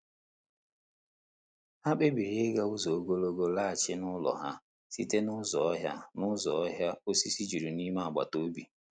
Ha kpebiri ịga ụzọ ogologo laghachi n'ụlọ ha site n'ụzọ ọhịa n'ụzọ ọhịa osisi juru n'ime agbataobi.